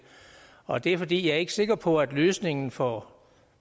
og det er fordi jeg ikke er sikker på at løsningen for